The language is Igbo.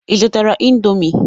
Ị zụtara indomie?